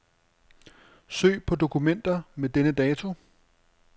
Søg på dokumenter med denne dato.